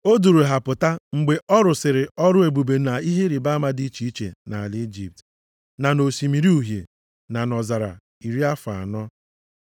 O duuru ha pụta mgbe ọ rụsịrị ọrụ ebube na ihe ịrịbama dị iche iche nʼala Ijipt, na nʼOsimiri Uhie na nʼọzara iri afọ anọ.